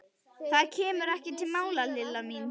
Það kemur ekki til mála, Lilla mín.